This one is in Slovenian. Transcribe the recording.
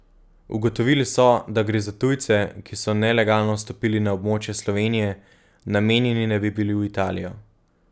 Ugotovili so, da gre za tujce, ki so nelegalno vstopili na območje Slovenije, namenjeni naj bi bili v Italijo.